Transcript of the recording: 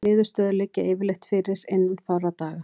Niðurstöður liggja yfirleitt fyrir innan fárra daga.